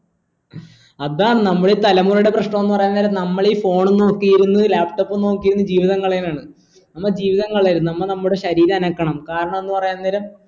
അതാണ് നമ്മളീ തലമുറയുടെ പ്രശ്നോന്ന് പറയാൻ നമ്മളീ phone ഉം നോക്കിയിരുന്ന് laptop ഉം നോക്കിയിരുന്ന് ജീവിതം കളയലാണ് നമ്മൾ ജീവിതം കലയെന് നമ്മ നമ്മടെ ശരീരം അനക്കണം കാരാണെന്ന് പറയുന്നേരം